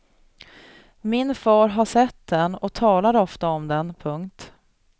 Min far har sett den och talar ofta om den. punkt